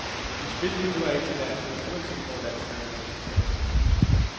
Mit spil lige nu er ikke til landholdet, uanset hvor landstræneren vil placere mig på banen.